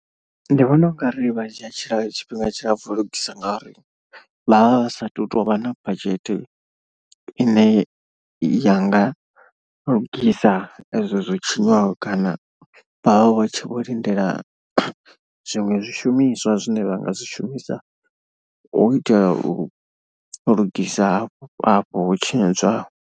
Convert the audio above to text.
Ndi vhona u nga ri vha dzhia tshila tshifhinga tshilapfu u lugisa ngauri vha vha vha sathu tovha na badzhethe i ne ya nga lugisa ezwo zwo tshinyaho. Kana vha vha tshi vho lindela zwiṅwe zwishumiswa zwine vha nga zwi shumisa u itela u lugisa hafho afho ho tshinyadzwaho.